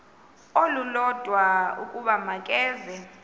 olulodwa ukuba makeze